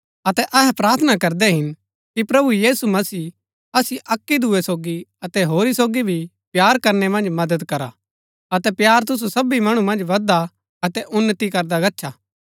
अतै अहै प्रार्थना करदै हिन कि प्रभु यीशु मसीह असिओ अक्की दूये सोगी अतै होरी सोगी भी प्‍यार करनै मन्ज मदद करा अतै प्‍यार तुसु सबी मणु मन्ज बदधा अतै उन्‍नति करदा गच्छा